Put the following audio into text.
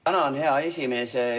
Tänan, hea esimees!